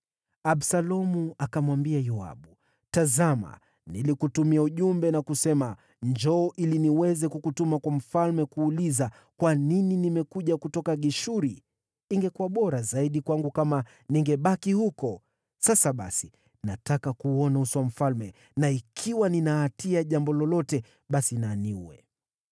Absalomu akamwambia Yoabu, “Tazama, nilikutumia ujumbe na kusema, ‘Njoo ili niweze kukutuma kwa mfalme kuuliza, “Kwa nini nimekuja kutoka Geshuri? Ingekuwa bora zaidi kwangu kama ningebaki huko!” ’ Sasa basi, nataka kuuona uso wa mfalme, na ikiwa nina hatia ya jambo lolote, basi na aniue.”